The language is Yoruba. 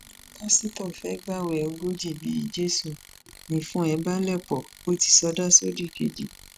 pásítọ fẹẹ gbààwé ogójì ọjọ bíi jésù nìfun ẹ bá le pó o ti sọdá sódìkejì